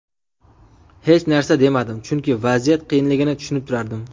Hech narsa demadim, chunki vaziyat qiyinligini tushunib turardim.